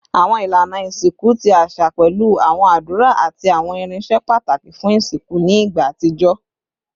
Awọn ilana isinku ti aṣa pẹlu awọn adura ati awọn irinṣẹ pataki fun isinku ni igba atijọ